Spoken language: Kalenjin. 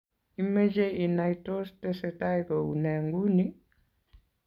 imeche inai tos tesetai kou nee nguni?